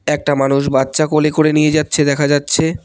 একটা মানুষ বাচ্চা কোলে করে নিয়ে যাচ্ছে দেখা যাচ্ছে।